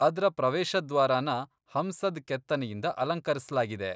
ಅದ್ರ ಪ್ರವೇಶದ್ವಾರನ ಹಂಸದ್ ಕೆತ್ತನೆಯಿಂದ ಅಲಂಕರಿಸ್ಲಾಗಿದೆ.